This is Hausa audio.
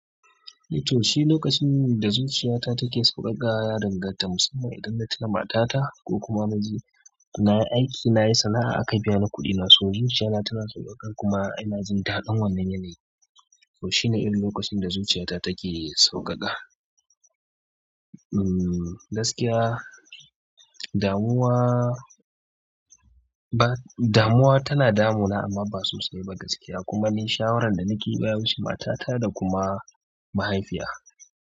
To, shi lokacin da zuciya ta take sauƙaƙa yana danganta musamman idan na tuna mata ta ko kuma na je na yi aiki, na yi sana'a aka biya ni kuɗina, so zuciya na tana sauƙaƙa kuma ina jin daɗin wannan yanayi. To shi ne wani lokacin da zuciya ta take sauƙaƙa. Mm, gaskiya, damuwa ba, damuwa tana damuna amma ba sosai ba gaskiya kuma ni shawarar da nake bi baya wuce mata ta da kuma mahaifiya.